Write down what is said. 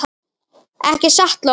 Ekki satt, Lóa?